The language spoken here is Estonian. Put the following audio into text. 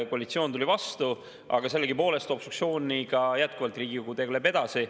Koalitsioon tuli vastu, aga sellegipoolest tegeleb Riigikogu obstruktsiooniga jätkuvalt edasi.